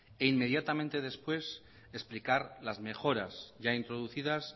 e inmediatamente después explicar las mejoras ya introducidas